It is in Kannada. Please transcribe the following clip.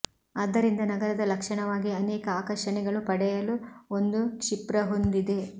ಆದ್ದರಿಂದ ನಗರದ ಲಕ್ಷಣವಾಗಿ ಅನೇಕ ಆಕರ್ಷಣೆಗಳು ಪಡೆಯಲು ಒಂದು ಕ್ಷಿಪ್ರ ಹೊಂದಿದೆ